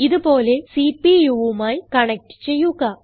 ഇത് പോലെ CPUവുമായി കണക്റ്റ് ചെയ്യുക